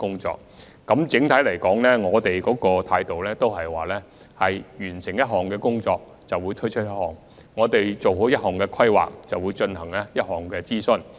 整體來說，我們的態度是完成一項工作便推出一項；做好一項規劃便進行一項諮詢。